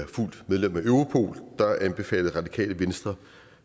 fuldt medlem af europol anbefalede radikale venstre